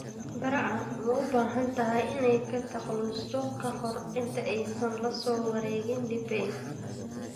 Barca ma u baahan tahay inay ka takhalusto ka hor inta aysan la soo wareegin Depay?